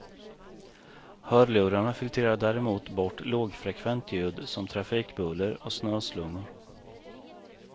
Hörlurarna filtrerar däremot bort lågfrekvent ljud som trafikbuller och snöslungor.